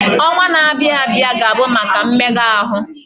Ọnwa na-abịa abịa ga-abụ maka mmega ahụ.